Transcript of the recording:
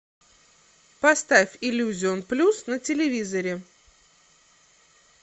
поставь иллюзион плюс на телевизоре